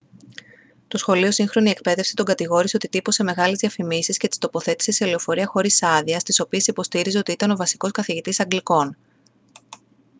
το σχολείο σύγχρονη εκπαίδευση τον κατηγόρησε ότι τύπωσε μεγάλες διαφημίσεις και τις τοποθέτησε σε λεωφορεία χωρίς άδεια στις οποίες υποστήριζε ότι ήταν ο βασικός καθηγητής αγγλικών